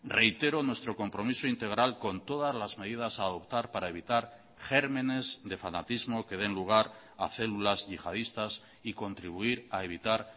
reitero nuestro compromiso integral con todas las medidas a adoptar para evitar gérmenes de fanatismo que den lugar a células yihadistas y contribuir a evitar